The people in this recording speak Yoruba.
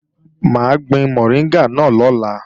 Mà á gbin mọ̀ríngà náà lọ́la